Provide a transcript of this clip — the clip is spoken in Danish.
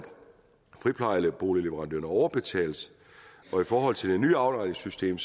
friplejeboligleverandørerne overbetales og i forhold til det nye afregningssystem